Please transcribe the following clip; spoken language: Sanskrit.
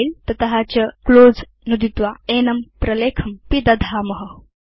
फिले तत चClose नुदित्वा एनं प्रलेखं पिदधाम